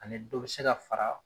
Ani dɔ bɛ ka fara.